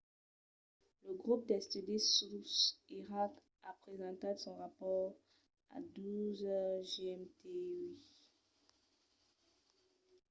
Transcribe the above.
lo grop d'estudi sus iraq a presentat son rapòrt a 12:00 gmt uèi